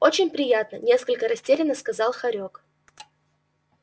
очень приятно несколько растерянно сказал хорёк